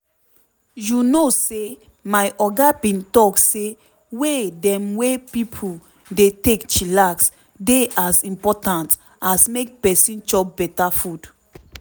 you know say my oga bin talk say way dem wey pipo dey take chillax dey as impotant as make peson chop beta food.